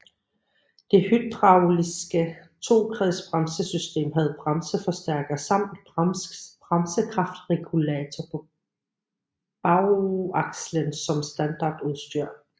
Det hydrauliske tokredsbremsesystem havde bremseforstærker samt bremsekraftregulator på bagakslen som standardudstyr